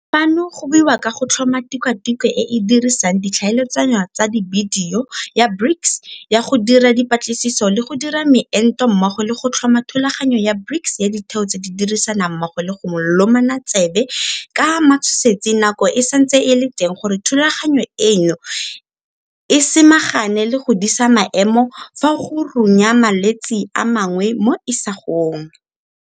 Fano go buiwa ka go tlhoma Tikwatikwe e e Dirisang Di tlhaeletsano tsa Dibidio ya BRICS ya go Dira Dipatlisiso le go Dira Meento mmogo le go tlhoma Thulaganyo ya BRICS ya Ditheo tse di Dirisanang Mmogo go Lomana Tsebe ka Matshosetsi Nako e Santse e le Teng gore thulaganyo eno e samagane le go disa maemo fa go runya malwetse a mangwe mo isagong.